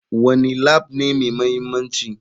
Wane Lab ne mai mahimmanci?